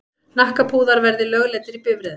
Hnakkapúðar verði lögleiddir í bifreiðum.